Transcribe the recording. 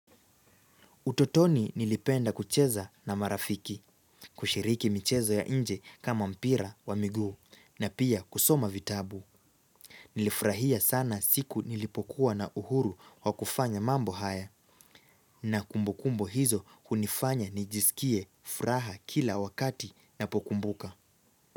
Utotoni nilipenda kucheza na marafiki, kushiriki michezo ya nje kama mpira wa miguu na pia kusoma vitabu. Nilifrahia sana siku nilipokuwa na uhuru wa kufanya mambo haya nakumbukumbu hizo kunifanya nijisikie, furaha kila wakati napokumbuka.